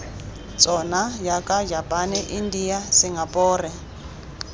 tsona jaaka japane india singapore